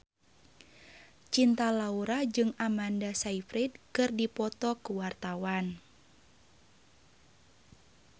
Cinta Laura jeung Amanda Sayfried keur dipoto ku wartawan